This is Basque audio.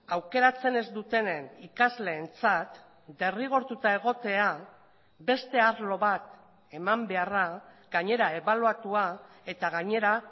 aukeratzen ez dutenen ikasleentzat derrigortuta egotea beste arlo bat eman beharra gainera ebaluatua eta gainera